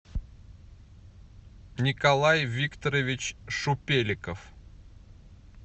николай викторович шупеликов